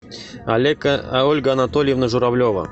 ольга анатольевна журавлева